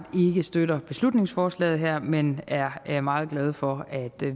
ikke støtter beslutningsforslaget her men er meget glad for at